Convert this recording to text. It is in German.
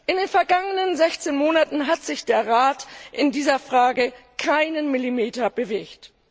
In den vergangenen 16 Monaten hat sich der Rat in dieser Frage keinen Millimeter bewegt.